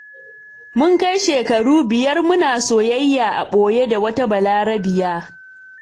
Mun kai shekaru biyar, muna soyayya a ɓoye da wata Balarabiya.